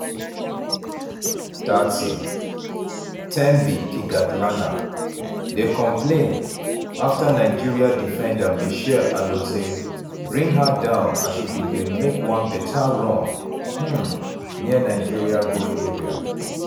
30' thembi kgatlana dey complain afta nigeria defender mitchelle alozie bring her down as she bin dey make one beta run um near nigeria goal area.